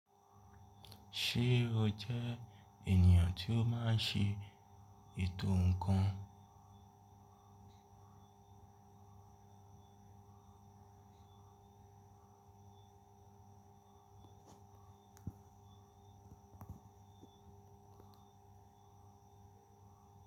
Ṣé o jẹ ènìyàn tí ó máa ń ṣe ètò ǹkan?